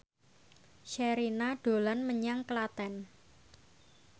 Sherina dolan menyang Klaten